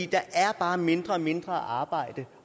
der er bare mindre og mindre arbejde